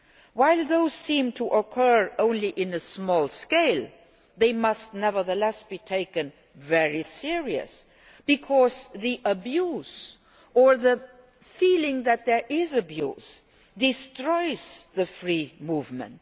While those seem to occur only on a small scale, they must nevertheless be taken very seriously, because abuse or the feeling that there is abuse destroys free movement.